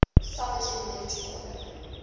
sovereign military order